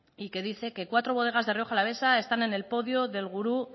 y que dice que cuatro bodegas de rioja alavesa están en el podio del gurú